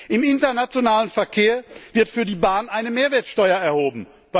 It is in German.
Im internationalen Verkehr wird für die Bahn eine Mehrwertsteuer erhoben.